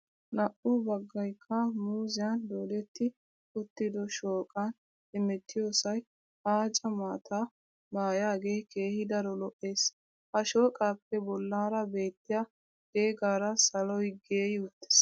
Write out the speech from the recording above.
Naa"u baggaykka muuzziyan doodetti uttiddo shooqan hemettiyosay aaca maataa maayaagee keehi daro lo"ees. Ha shooqaappe bollaara beettiya deegara saloy geey uttiis.